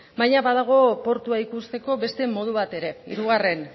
baina badago portua ikusteko beste modu bat ere hirugarren